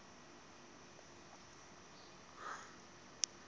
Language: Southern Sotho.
motho e mong ya nang